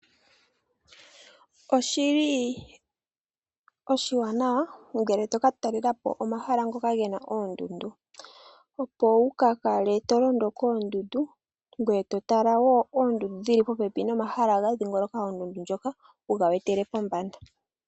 Oshili oshiwanawa ngele to ka talela po omahala ngoka ge na oondundu opo wu ka kale to londo koondundu ngoye to tala wo oondundu dhili popepi nomamahala ga dhiingoloka oondundu ndhoka wuga wetele pombanda.